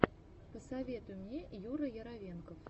посоветуй мне юра яровенков